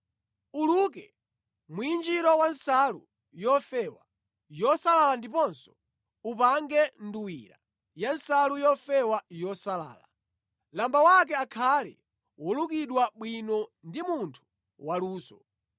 “Uluke mwinjiro wa nsalu yofewa yosalala ndiponso upange nduwira ya nsalu yofewa yosalala. Lamba wake akhale wolukidwa bwino ndi munthu waluso.